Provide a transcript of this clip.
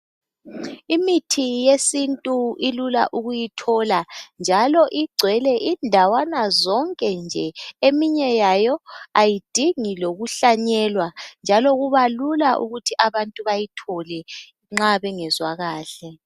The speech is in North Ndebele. Imithi yesintu ilula ukuyithola njalo igcwele indawana zonke nje. Eminye yayo ayidingi lokuhlanyelwa njalo kubalula ukuthi abantu bayithole nxa bengezwa kahle.